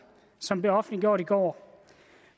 som blev offentliggjort i går